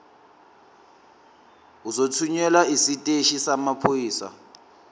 uzothunyelwa esiteshini samaphoyisa